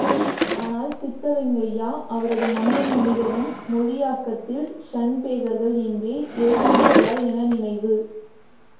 ஆனால் சித்தலிங்கய்யா அவரது மண்ணும் மனிதரும் மொழியாக்கத்தில் ஷன்பேகர்கள் என்றே எழுதியிருக்கிறார் என நினைவு